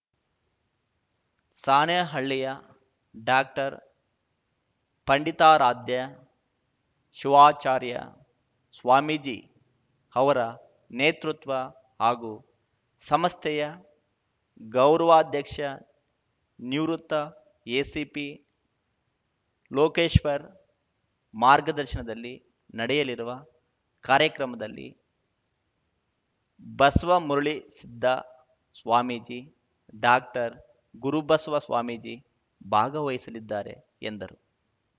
ಸಾಣೇಹಳ್ಳಿಯ ಡಾಕ್ಟರ್ಪಂಡಿತಾರಾಧ್ಯ ಶಿವಾಚಾರ್ಯ ಸ್ವಾಮೀಜಿ ಅವರ ನೇತೃತ್ವ ಹಾಗೂ ಸಂಸ್ಥೆಯ ಗೌರವಾಧ್ಯಕ್ಷ ನಿವೃತ್ತ ಎಸಿಪಿ ಲೋಕೇಶ್ವರ್‌ ಮಾರ್ಗದರ್ಶನದಲ್ಲಿ ನಡೆಯಲಿರುವ ಕಾರ್ಯಕ್ರಮದಲ್ಲಿ ಬಸವಮುರುಳಿಸಿದ್ದ ಸ್ವಾಮಿಜಿ ಡಾಕ್ಟರ್ಗುರುಬಸವ ಸ್ವಾಮಿಜಿ ಭಾಗವಹಿಸಲಿದ್ದಾರೆ ಎಂದರು